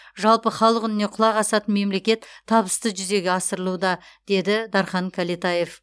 жалпы халық үніне құлақ асатын мемлекет табысты жүзеге асырылуда деді дархан кәлетаев